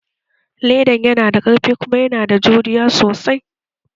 Ledan yana da ƙarfi kuma yana da juriya sosai